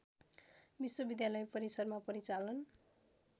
विश्वविद्यालय परिसरमा परिचालन